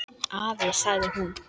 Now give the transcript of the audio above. Guð, sjáiði!